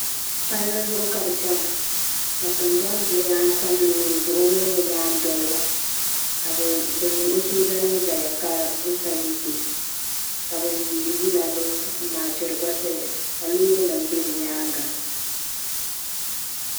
Palli zuɣu ka bɛ chena ka tingbani xuɣulana tam loori zuɣu o mini o nyaandoliba ka o sooja nima zaya ka bɛ saluti o ka ban yiini yila ban maachira gba zaya ka loori nima be bɛ nyaanga.